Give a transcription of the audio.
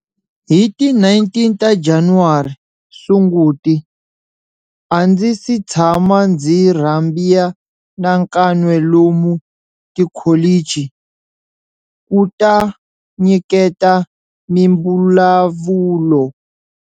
Hi ti 19 ta Januwari, Sunguti, a ndzi si tshama ndzi rhambia na kan'we lomu tikholichi ku ta nyiketa mimbulavulo.